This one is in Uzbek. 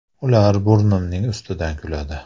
“Ular burnimning ustidan kuladi.